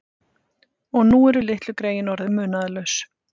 Og nú eru litlu greyin orðin munaðarlaus.